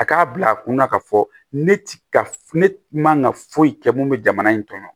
A k'a bila kunna ka fɔ ne ti ka ne man ka foyi kɛ mun bɛ jamana in kɔnɔ